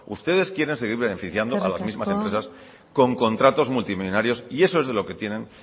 ustedes quieren seguir beneficiando a las mismas empresas con contratos multimillónarios y eso es lo que tienen